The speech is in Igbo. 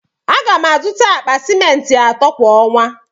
A ga m azụta akpa ciment ato kwa ọnwa.